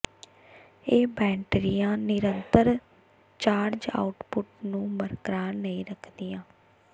ਇਹ ਬੈਟਰੀਆਂ ਨਿਰੰਤਰ ਚਾਰਜ ਆਉਟਪੁੱਟ ਨੂੰ ਬਰਕਰਾਰ ਨਹੀਂ ਰੱਖਦੀਆਂ